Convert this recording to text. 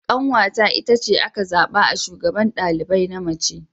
Ƙanwata itace aka zaɓa a shugaban ɗalibai na mace.